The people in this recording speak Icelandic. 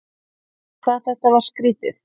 En hvað þetta var skrýtið.